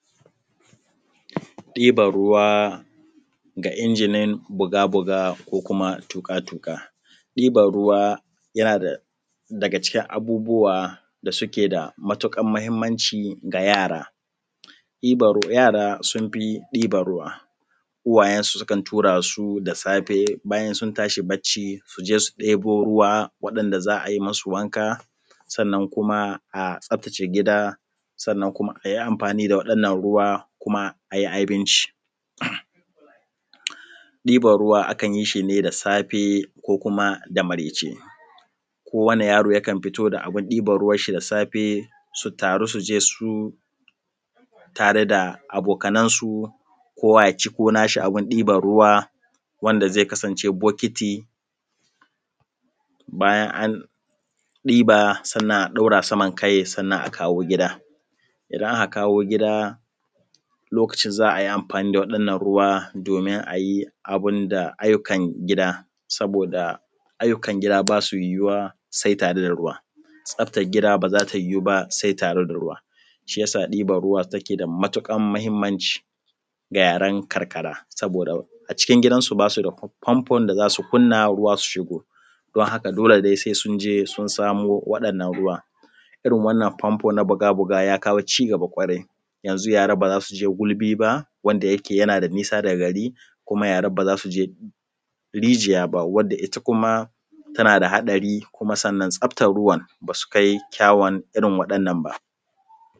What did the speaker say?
Dibar ruwa ga injinin buga-buga ko kuma tuƙa-tuƙa. Diban ruwa yana daga cikin abubuwa da suke da matuƙar mahimmanci ga yara. Yara sun fi ɗiban ruwa, uwayensu sukan tura su da safe bayan sun tashi barci su je su ɗebo ruwa waɗanda za a yi musu wanka sannan kuma a tsaftace gida sannan kuma a yi amfani da wannan ruwa kuma a yi abinci. Diban ruwa akan yi shi ne da safe ko kuma da maraice. Kowani yaro yakan fito da abin ɗiban ruwansa da safe su taru su je su tare da abokanansu kowa ya ciko nashi abin ɗiban ruwa wanda zai kasance bokiti. Bayan an ɗiba sannan a ɗaura saman kai sannan a kawo gida. Idan aka kawo gida lokacin za a yi amfani waɗannan ruwa domin a yi abin da ayyukan gida, saboda ayyukan gida basu yiwuwa sai tare da ruwa. Tsaf­tan gida ba za ta yiwu ba sai da ruwa. Shi yasa ɗiban ruwa yake da matuƙar mahimmanci ga yaran karkara. Saboda a cikin gidansu bayan an ɗiba sannan a ɗaura saman kai sannan a kawo gida. Idan aka kawo gida lokacin za a yi amfani waɗannan ruwa domin a yi abin da ayyukan gida, saboda ayyukan gida basu yiwuwa sai tare da ruwa, tsaftan gida ba za ta yiwu ba sai da ruwa. Shi yasa ɗiban ruwa yake da matuƙar mahimmanci ga yaran karkara, saboda a cikin gidansu…